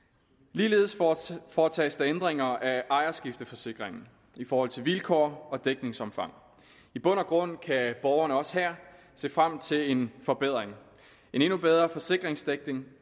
ligeledes foretages der ændringer af ejerskifteforsikringen i forhold til vilkår og dækningsomfang i bund og grund kan borgerne også her se frem til en forbedring en endnu bedre forsikringsdækning